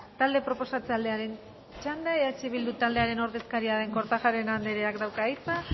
talde proposatzailearen txanda eh bildu taldearen ordezkaria den kortajarena andreak dauka hitza